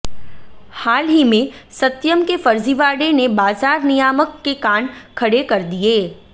हाल ही में सत्यम के फर्जीवाड़े ने बाजार नियामक के कान खड़े कर दिए